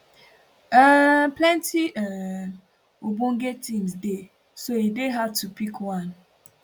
um plenti um ogbonge teams dey so e dey hard to pick one